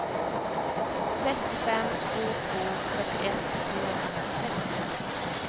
sex fem två två fyrtioett trehundranittiosex